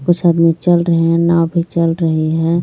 कुछ आदमी चल रहे हैं नाव भी चल रही हैं.